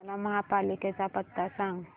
मला महापालिकेचा पत्ता सांग